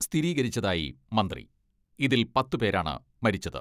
സ്ഥിരീകരിച്ചതായി മന്ത്രി ഇതിൽ പത്ത് പേരാണ് മരിച്ചത്.